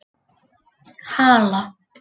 Hala